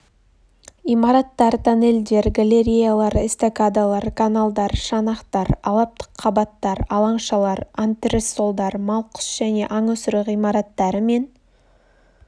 имараттар-тоннельдер галереялар эстакадалар каналдар шанақтар алабтық қабаттар алаңшалар антрессолдар мал құс және аң өсіру ғимараттары мен